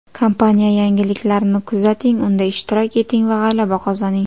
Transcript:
Kompaniya yangiliklarini kuzating, unda ishtirok eting va g‘alaba qozoning!